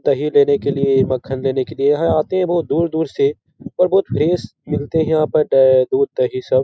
दही देने के लिए या मक्खन देने के लिए यहाँ आते हैं बहुत दूर-दूर से और बहुत फ्रेश मिलते हैं यहाँ पर अह दूध-दही सब ।